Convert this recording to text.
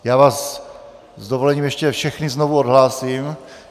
Já vás s dovolením ještě všechny znovu odhlásím.